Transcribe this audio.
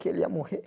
que ele ia morrer.